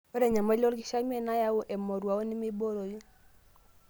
Ore enyamali olkishamiet nayau emoruao nemeibooroi.